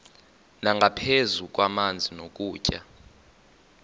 nangaphezu kwamanzi nokutya